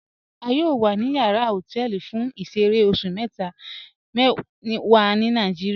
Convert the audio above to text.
A yọọ wa ni yàrà họtẹlì fún ìṣẹ̀rẹ̀ oṣù mẹta wa ni Nàìjíríà.